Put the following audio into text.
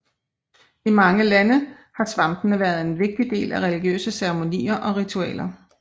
I mange lande har svampene været en vigtig del af religiøse ceremonier og ritualer